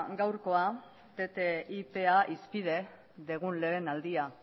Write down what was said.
gaurkoa ttipa hizpide dugun lehen aldia